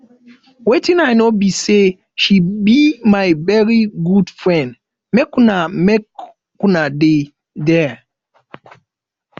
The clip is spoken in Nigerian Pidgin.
wetin i know be say she be my very good friend make una make una dey there